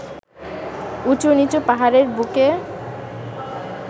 উঁচু-নিচু পাহাড়ের বুকে